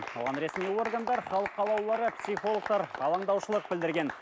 оған ресми органдар халық қалаулылары психологтар алаңдаушылық білдірген